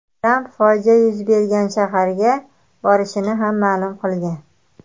Tramp fojia yuz bergan shaharga borishini ham ma’lum qilgan.